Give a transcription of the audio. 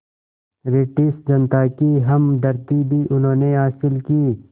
British जनता की हमदर्दी भी उन्होंने हासिल की